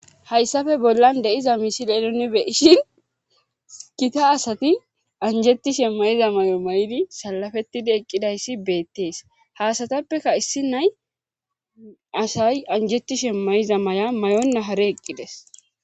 Hayssafe bollan deiza misil eloni beishin kita asati anjetishe mayiza may'o may'idi salafetidi eqqidayssi beettees haasatappeka issi nay asay anjetishe may7iza may7a may7onna hare eqqides